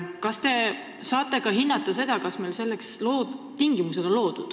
Kas te saate hinnata ka seda, kas meil on loodud selleks tingimused?